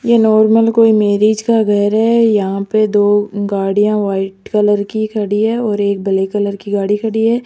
यह नॉर्मल कोई मैरिज का घर है यहां पे दो गाड़ियां व्हाइट कलर की खड़ी है और एक ब्लैक कलर की गाड़ी खड़ी है।